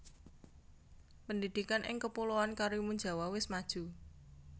Pendidikan ing kepuloan Karimunjawa wes maju